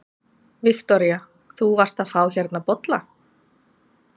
Viktoría: Þú varst að fá hérna bolla?